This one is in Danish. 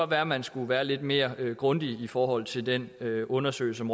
være at man skulle være lidt mere grundig i forhold til den undersøgelse